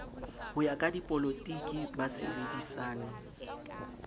ho ya ka dipolotiki basebedisani